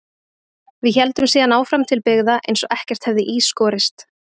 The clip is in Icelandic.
Við héldum síðan áfram til byggða eins og ekkert hefði í skorist.